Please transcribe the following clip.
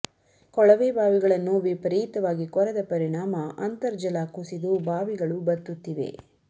ಕೊಳವೆ ಬಾವಿಗಳನ್ನು ವಿಪರೀತವಾಗಿ ಕೊರೆದ ಪರಿಣಾಮ ಅಂತರ್ಜಲ ಕುಸಿದು ಬಾವಿಗಳು ಬತ್ತುತ್ತಿವೆ